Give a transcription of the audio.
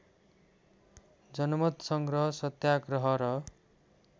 जनमतसङ्ग्रह सत्याग्रह र